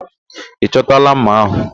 Ị chọtala ḿmà ahụ?